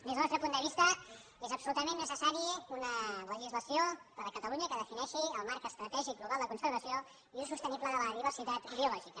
des del nostre punt de vista és absolutament necessària una legislació a catalunya que defineixi el marc estratègic global de conservació i ús sostenible de la diversitat biològica